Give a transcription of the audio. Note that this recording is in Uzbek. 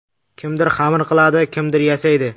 Kimdir xamir qiladi, kimdir yasaydi.